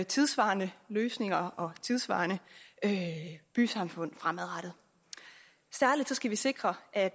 tidssvarende løsninger og tidssvarende bysamfund fremadrettet særlig skal vi sikre at